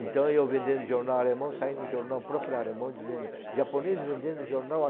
Então, eu vendendo jornal alemão, saí no jornal próprio alemão dizendo, japonês vendendo jornal